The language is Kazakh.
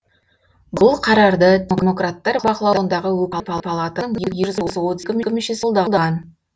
бұл қарарды демократтар бақылауындағы өкілдер палатасының мүшесі қолдаған